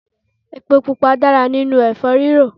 Epo pupa dára nínú èfó rírò